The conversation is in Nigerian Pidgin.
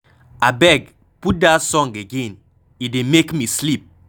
Abeg, put dat song again, e dey make me sleep.